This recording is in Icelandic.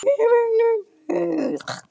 Og hvers vegna undrar yður það?